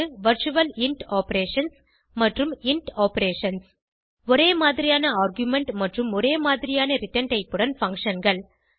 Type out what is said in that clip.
virtual int operations மற்றும் int operations ஒரே மாதிரியான ஆர்குமென்ட் மற்றும் ஒரே மாதிரியான ரிட்டர்ன் டைப் உடன் functionகள்